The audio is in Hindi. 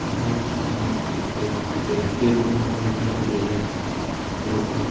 इतनी सारी चीज़ें लगी स्टेज पर स्टेज बना हुआ दिख रहा है सब फूलों से--